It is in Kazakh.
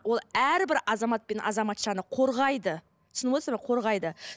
ол әрбір азамат пен азаматшаны қорғайды түсініп отырсыздар ма қорғайды